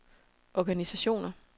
organisationer